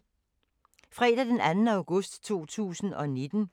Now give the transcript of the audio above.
Fredag d. 2. august 2019